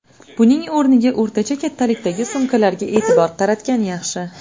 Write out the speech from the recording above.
Buning o‘rniga o‘rtacha kattalikdagi sumkalarga e’tibor qaratgan yaxshi.